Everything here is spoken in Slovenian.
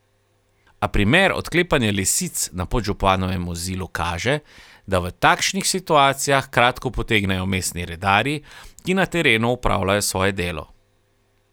A primer odklepanja lisic na podžupanovem vozilu kaže, da v takšnih situacijah kratko potegnejo mestni redarji, ki na terenu opravljajo svoje delo.